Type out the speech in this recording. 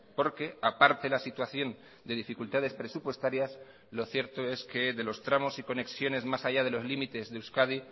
porque aparte la situación de dificultades presupuestarias lo cierto es que de los tramos y conexiones más allá de los límites de euskadi